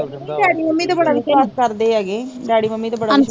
ਨਈ daddy mummy ਤੇ ਬੜਾ ਵਿਸ਼ਵਾਸ਼ ਕਰਦੇ ਐਗਏ, ਡੈਡੀ ਮੰਮੀ ਤੇ ਬੜਾ ਵਿਸ਼ਵਾਸ਼